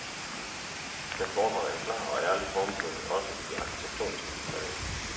Den fordrede en klar og ærlig formgivning også i de arkitektoniske detaljer.